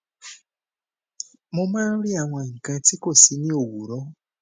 um mo máa ń rí àwọn nǹkan ti kó si ni owuro